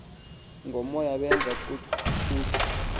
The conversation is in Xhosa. ngomoya bezama ukucutha